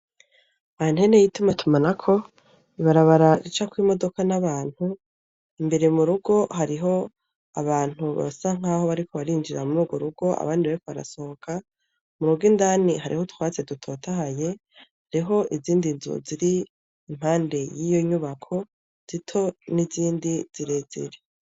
Antene y' ituma tumanako ibarabara ricako imodoka n'abantu imbere mu rugo hariho abantu basa nk'aho bariko barinjira muri ugwo rugo abandi bariko barasohoka mu rugo indani hariho utwatsi dutotahaye hariho izindi nzu ziri impande y'iyo nyubako zito n'izindi zire zere.